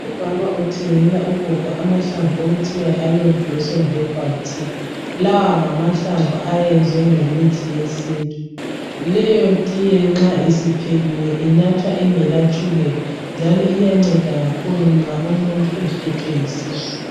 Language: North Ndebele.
Umama uthengela ugogo amahlamvu okuthiwa yiAloe Blossom Herbal tea. Lawa ngamahlamvu ayenzwe ngemithi yesintu. Leyo tiye nxa isiphekiwe inathwa ingelatshukela njalo iyanceda kakhulu nxa umuntu ephethwe yisisu.